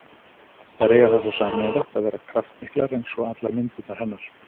Þær eiga það þó sameiginlegt að vera kraftmiklar, eins og allar myndirnar hennar.